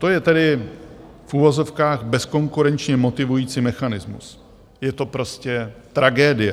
To je tedy v uvozovkách bezkonkurenčně motivující mechanismus, je to prostě tragédie.